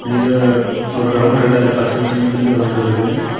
இது ஒரு கிரவுண்ட் இருக்கு அதுல பச்சை பச்சைனு பில்லு வளந்து இருக்குது.